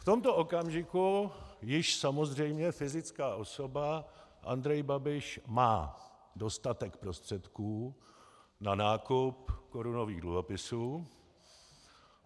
V tomto okamžiku již samozřejmě fyzická osoba Andrej Babiš má dostatek prostředků na nákup korunových dluhopisů.